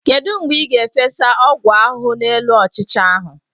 Kedu mgbe ị ga-efesa ọgwụ ahụhụ n'elu ọchịcha ahu?